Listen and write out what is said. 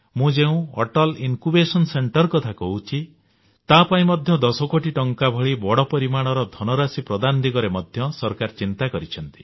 ମୁଁ ଯେଉଁ ଅଟଲ ଜ୍ଞାନାଙ୍କୁର କେନ୍ଦ୍ର କଥା କହୁଛି ତା ପାଇଁ ମଧ୍ୟ 10 କୋଟି ଟଙ୍କା ଭଳି ବଡ ପରିମାଣର ଧନ ରାଶି ପ୍ରଦାନ ଦିଗରେ ମଧ୍ୟ ସରକାର ଚିନ୍ତା କରିଛନ୍ତି